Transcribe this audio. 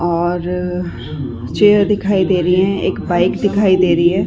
और चेयर दिखाई दे रही है एक बाइक दिखाई दे रही है